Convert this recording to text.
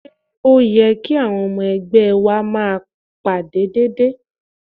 Ṣé ó yẹ kí àwọn ọmọ ẹgbẹ́ máa wá ìpàdé déédéé?